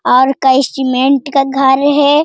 और कई सीमेंट का घर है।